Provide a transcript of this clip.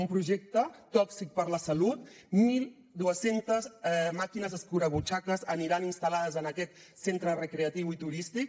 un projecte tòxic per a la salut mil dos cents màquines escurabutxaques aniran instal·lades en aquest centre recreatiu i turístic